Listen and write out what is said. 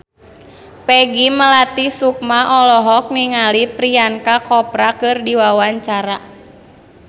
Peggy Melati Sukma olohok ningali Priyanka Chopra keur diwawancara